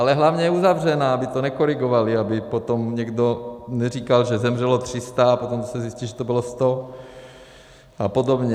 Ale hlavně je uzavřená, aby to nekorigovali, aby potom někdo neříkal, že zemřelo 300, a potom se zjistí, že to bylo 100 a podobně.